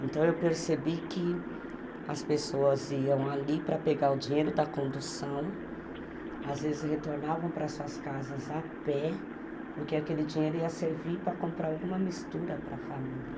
Então, eu percebi que as pessoas iam ali para pegar o dinheiro da condução, às vezes retornavam para as suas casas a pé, porque aquele dinheiro ia servir para comprar alguma mistura para a família.